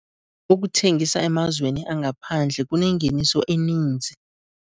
Ukuthengisa emazweni angaphandle kunengeniso eninzi.